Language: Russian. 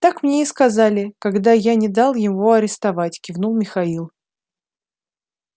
так мне и сказали когда я не дал его арестовать кивнул михаил